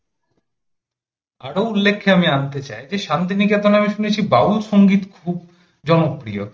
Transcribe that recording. আরো উল্লেখ্যে আমি আনতে চাই যে শান্তিনিকেতনে আমি শুনেছি বাউল সংগীত খুব জনপ্রিয়